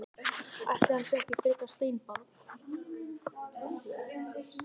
Ætli hann sé ekki frekar steinbarn.